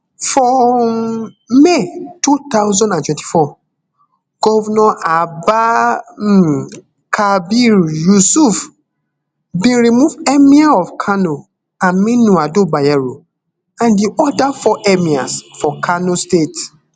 for um may two thousand and twenty-four govnor abba um kabir yusuf bin remove emir of kanoaminu ado bayero and di oda four emirs for kano state